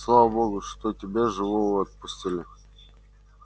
слава богу что тебя живого отпустили